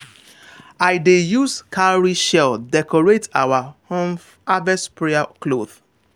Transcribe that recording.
i dey use cowrie shell decorate our um harvest prayer cloth.